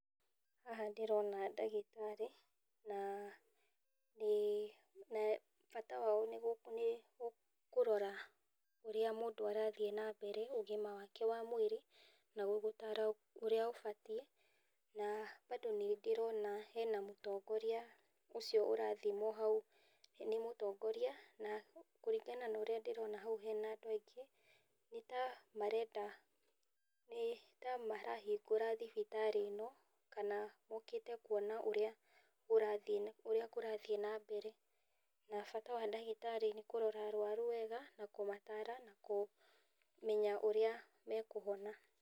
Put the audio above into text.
Haha ndĩrona ndagĩtarĩ, na bata wao nĩ kũrora ũrĩa mũndũ arathiĩ na mbere ũgima wake wa mwĩrĩ , na gũgũtara ũrĩa ũbatiĩ na bado nĩ ndĩrona hena mũtongoria ũcio ũrathimwo hau , nĩ mũtongoria na kũringana na ũrĩa ndĩrona hau hena andũ aingĩ, nĩtamarenda nĩtamarahingũra thibitarĩ ĩno, kana mokĩte kuona ũrĩa kũrathiĩ na mbere, na bata wa ndagĩtarĩ nĩkuona arwaru wega na kũmatara na kũmenya ũrĩa makũhona na ihenya.